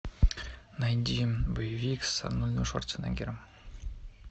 найди боевик с арнольдом шварценеггером